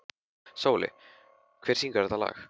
Sóli, hver syngur þetta lag?